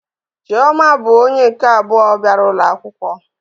Chioma bụ onye nke abụọ bịara ụlọ akwụkwọ